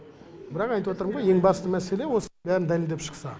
бірақ айтып отырмын ғой ең басты мәселе осы бәрін дәлелдеп шықса